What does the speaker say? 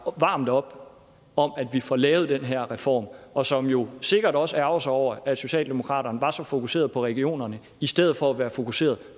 varmt op om at vi får lavet den her reform og som jo sikkert også ærgrer sig over at socialdemokraterne var så fokuseret på regionerne i stedet for at være fokuseret